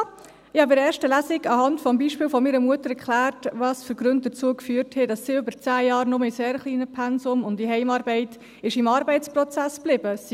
Ich hatte in der ersten Lesung anhand des Beispiels meiner Mutter erklärt, welche Gründe dazu geführt hatten, dass sie über zehn Jahre nur in sehr kleinen Pensen und in Heimarbeit im Arbeitsprozess geblieben war.